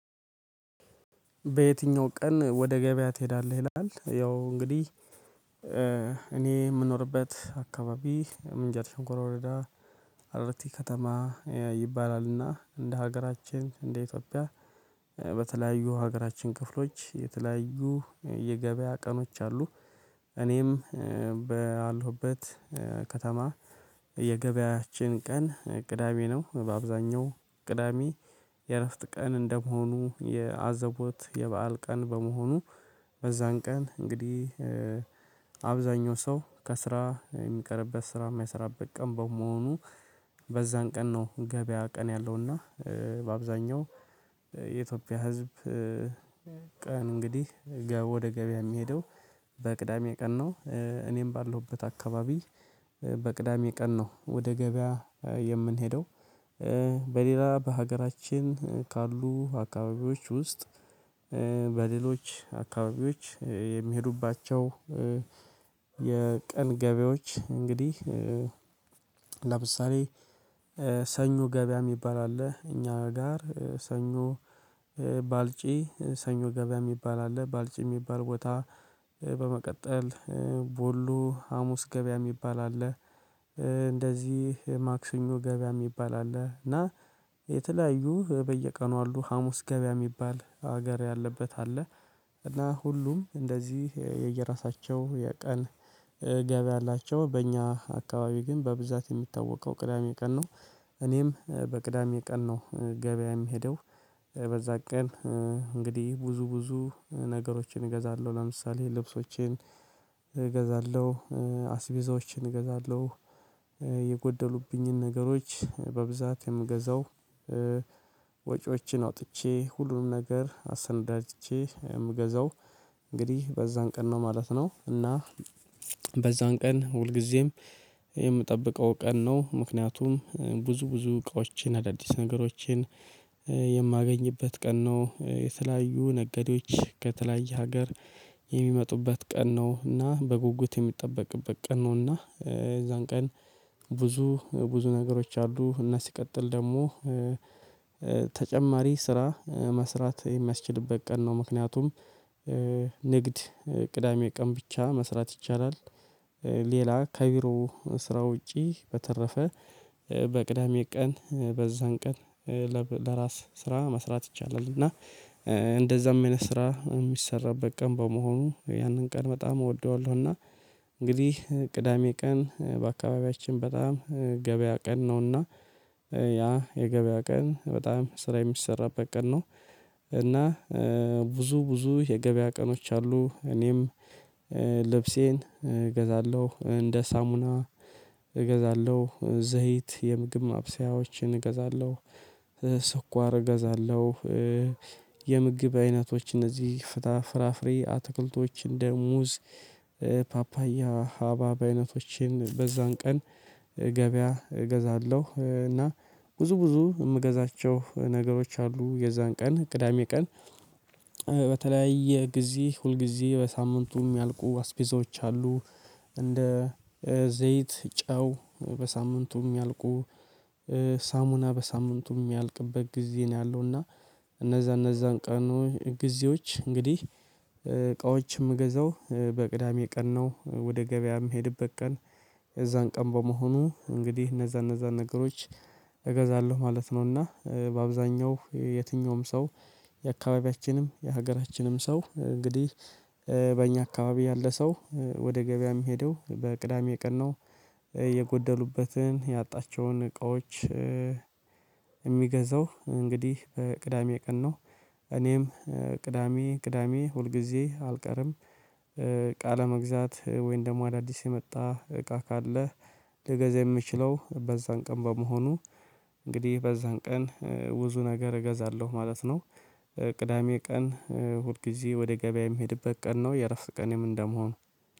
በየትኛው ቀን ወደ ገበያ ትሄዳለህ? ይላል ያው እንግዲህ እኔ የምኖርበት አካባቢ ምንጃር ሽንኩራ ወረዳ አራርቲ ከተማ ይባላልና እንደ ሀገራችን እንደ ኢትዮጵያ በተለያዩ ሀገራችን ክፍሎች የተለያዩ የገበያ ቀኖች አሉ እኔም ባለሁበት ከተማ የገበያችን ቀን ቅዳሜ ነው በአብዛኛው ቅዳሜ የእረፍት ቀን እንደመሆኑ የአዘቦት የበአል ቀን በመሆኑ በዛን ቀን እንግዲህ አብዛኛው ሰው ከስራ የሚቀርበት ስራ የማይሰራበት ቀን በመሆኑ በዛን ቀን ነው ገበያ ቀን ያለውና በአብዛኛው የኢትዮጵያ ህዝብ። ቀን እንግዲህ ገብ ወደ ገበያ የሚሄደው በቅዳሜ ቀን ነው። እኔም ባለሁበት አካባቢ በቅዳሜ ቀን ነው ወደ ገበያ የምንሄደው። በሌላ በሀገራችን ካሉ አካባቢዎች ውስጥ በሌሎች አካባቢዎች የሚሄዱባቸው የቀን ገበያዎች እንግዲህ ለምሳሌ ሰኞ ገበያ የሚባል አለ። እኛ ጋር ሰኞ ባልጪ ሰኞ ገበያ የሚባል አለ። ባልጪ የሚባል ቦታ በመቀጠል ቦሎ ሀሙስ ገበያ የሚባል አለ። እንደዚህ ማክሰኞ ገበያ የሚባል አለ እና የተለያዩ በየቀኑ አሉ ሀሙስ ገበያ የሚባል ሀገር ያለበት አለ እና ሁሉም እንደዚህ የየራሳቸው የቀን ገበያ አላቸው። በእኛ አካባቢ ግን በብዛት የሚታወቀው ቅዳሜ ቀን ነው እኔም በቅዳሜ ቀን ነው ገበያ የሚሄደው። በዛ ቀን እንግዲህ ብዙ ብዙ ነገሮችን እገዛለሁ ለምሳሌ ልብሶቼን እገዛለሁ አስቤዛዎቼን እገዛለሁ የጎደሉብኝን ነገሮች በብዛት የምገዛው ወጪዎችን አውጥቼ ሁሉንም ነገር አሰነዳጅቼ የምገዛው እንግዲህ በዛን ቀን ነው ማለት ነው። እና በዛን ቀን ሁልጊዜም የምጠብቀው ቀን ነው። ምክንያቱም ብዙ ብዙ እቃዎችን አዳዲስ ነገሮችን የማገኝበት ቀን ነው። የተለያዩ ነገዴዎች ከተለያየ ሀገር የሚመጡበት ቀን ነው። እና በጉጉት የሚጠበቅበት ቀን ነው። እና የዛን ቀን ብዙ ብዙ ነገሮች አሉ እና ሲቀጥል ደግሞ ተጨማሪ ስራ መስራት የሚያስችልበት ቀን ነው። ምክንያቱም ንግድ ቅዳሜ ቀን ብቻ መስራት ይቻላል። ሌላ ከቢሮ ስራ ውጪ በተረፈ በቅዳሜ ቀን በዛን ቀን ለራስ ስራ መስራት ይቻላል እና እንደዛም አይነት ስራ የሚሰራበት ቀን በመሆኑ ያንን ቀን በጣም እወደዋለሁ። እና እንግዲህ ቅዳሜ ቀን በአካባቢያችን በጣም ገበያ ቀን ነውና ያ የገበያ ቀን በጣም ስራ የሚሰራበት ቀን ነው። እና ብዙ ብዙ የገበያ ቀኖች አሉ እኔም ልብሴን እገዛለሁ እንደ ሳሙና እገዛለሁ ዘይት የምግብ ማብሰያዎችን እገዛለሁ። ስኳር እገዛለሁ የምግብ አይነቶች እነዚህ ፍታ ፍራፍሬ አትክልቶች እንደ ሙዝ ፓፓያ ሀባብ አይነቶችን በዛን ቀን ገበያ እገዛለሁ እና ብዙ ብዙ የምገዛቸው ነገሮች አሉ። የዛን ቀን ቅዳሜ ቀን በተለያየ ጊዜ ሁልጊዜ በሳምንቱም የሚያልቁ አስቤዛዎች አሉ እንደ ዘይት ጨው በሳምንቱም ያልቁ ሳሙና በሳምንቱ የሚያልቅበት ጊዜ ነው ያለው እና እነዛ እነዛን ቀኑ ጊዜዎች እንግዲህ እቃዎች የምገዛው በቅዳሜ ቀን ነው። ወደ ገበያም የምሄድበት ቀን የዛን ቀን በመሆኑ እንግዲህ እነዛ እነዛ ነገሮች እገዛለሁ ማለት ነው። እና በአብዛኛው የትኛውም ሰው የአካባቢያችንም የሀገራችንም ሰው እንግዲህ በእኛ አካባቢ ያለ ሰው ወደ ገበያ የሚሄደው በቅዳሜ ቀን ነው። የጎደሉበትን ያጣቸውን እቃዎች የሚገዛው እንግዲህ ቅዳሜ ቀን ነው። እኔም ቅዳሜ ቅዳሜ ሁልጊዜ አልቀርም እቃ ለመግዛት ወይም ደግሞ አዳዲስ የመጣ እቃ ካለ ልገዛ የምችለው በዛን ቀን በመሆኑ እንግዲህ በዛን ቀን ብዙ ነገር እገዛለሁ ማለት ነው። ቅዳሜ ቀን ሁልጊዜ ወደ ገበያ የምሄድበት ቀን ነው የረፍት ቀኔም እንደመሆኑ